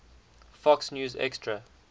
fox news extra